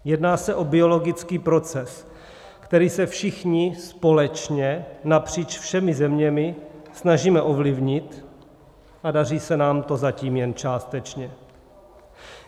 Jedná se o biologický proces, který se všichni společně, napříč všemi zeměmi, snažíme ovlivnit, a daří se nám to zatím jen částečně.